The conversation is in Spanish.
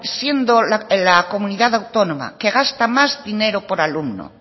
siendo la comunidad autónoma que gasta más dinero por alumno